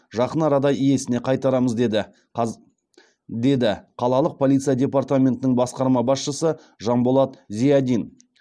жақын арада иесіне қайтарамыз деді қалалық полиция департаментінің басқарма басшысы жанболат зиадин